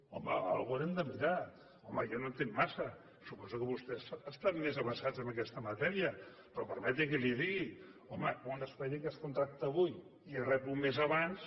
home alguna cosa haurem de mirar home jo no hi entenc massa suposo que vostès estan més avesats a aquesta matèria però permeti’m que li digui home que un expedient que es contracta avui i es rep un mes abans